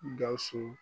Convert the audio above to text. Gawusu